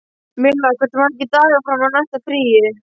Milla, hversu margir dagar fram að næsta fríi?